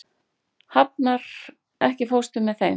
Hafnar, ekki fórstu með þeim?